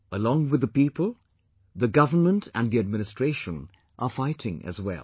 along with the people, the government and the administration are fighting as well